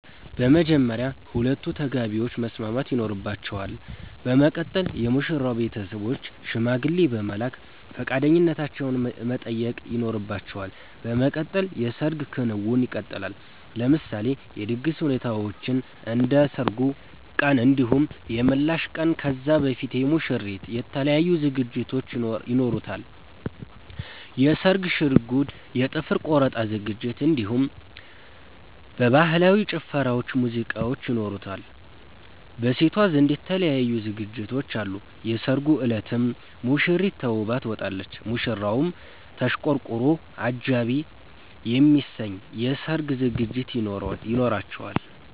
በመጀመርያ ሁለቱ ተጋቢዎች መስማማት ይኖርባቸል በመቀጠል የሙሽራዉ ቤተሰቦች ሽማግሌ በመላክ ፈቃደኛነታቸዉን መጠየቅ ይኖርባቸዋል በመቀጠል የሰርግ ክንዉኑ ይቀጥላል። ለምሳሌ የድግስ ሁኔታዎችን እንደ ሰርጉ ቀን እንዲሁም የምላሽ ቀን ከዛ በፊት የሙሽሪት የተለያዩ ዝግጅቶች ይኖሯታል የስርግ ሽርጉድ የ ጥፍር ቆረጣ ዝግጅት እንዲሁም በህላዊ ጭፈራዎች ሙዚቃዎች ይኖራሉ። በሴቷ ዘንድ የተለያዩ ዝግጅቶች አሉ የሰርጉ እለትም ሙሽሪት ተዉባ ትወጣለች። ሙሽራዉም ተሽቀርቅሮ አጃኢብ የሚያሰኝ የሰርግ ዝግጅት ይኖራቸዋል